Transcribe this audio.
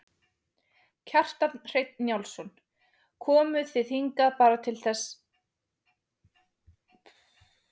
Kjartan Hreinn Njálsson: Komuð þið hingað bara til að sjá ljósin?